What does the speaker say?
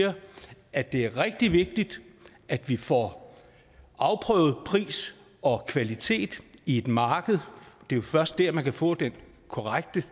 at det er rigtig vigtigt at vi får afprøvet pris og kvalitet i et marked det er jo først der man kan få det korrekte